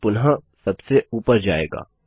और फिर पुनः सबसे ऊपर जाएगा